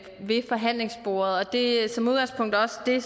ved forhandlingsbordet det er som udgangspunkt også det